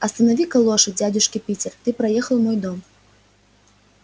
останови-ка лошадь дядюшка питер ты проехал мой дом